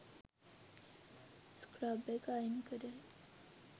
scrub එක අයින් කරලා